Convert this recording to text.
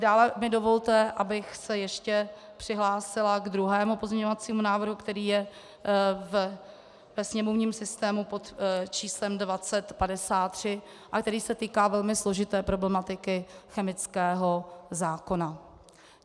Dále mi dovolte, abych se ještě přihlásila k druhému pozměňovacímu návrhu, který je ve sněmovním systému pod číslem 2053 a který se týká velmi složité problematiky chemického zákona.